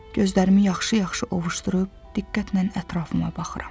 Gözlərimi yaxşı-yaxşı ovuşdurub, diqqətlə ətrafıma baxıram.